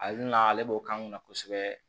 Ale na ale b'o k'an kunna kosɛbɛ